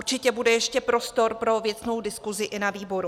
Určitě bude ještě prostor pro věcnou diskuzi i na výboru.